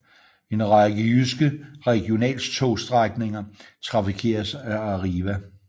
En række jyske regionaltogsstrækninger trafikeres af Arriva